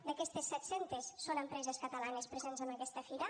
d’aquestes set cents són empreses catalanes presents en aquesta fira